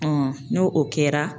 n'o o kɛra